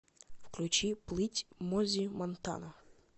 включи плыть мози монтана